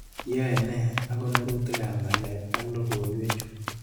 Iyae nee ak konorutikap ng'alek ak logoiwekchu?